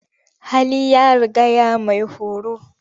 Hali ya rigaya maihoro.